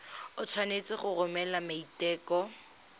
o tshwanetse go romela maiteko